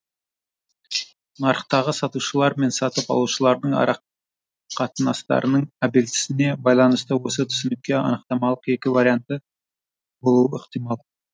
нарықтағы сатушылар мен сатып алушылардың арақатынастарының объеъктісіне байланысты осы түсінікке анықтаманың екі варианты болуы ықтимал